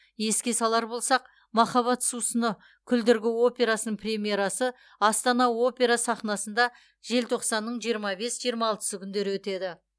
еске салар болсақ махаббат сусыны күлдіргі операсының премьерасы астана опера сахнасында желтоқсанның жиырма бес жиырма алтысы күндері өтеді